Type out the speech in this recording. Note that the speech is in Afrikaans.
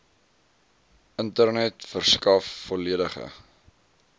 internet verskaf volledige